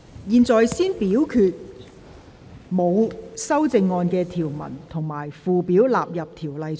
現在先表決沒有修正案的條文及附表納入《條例草案》。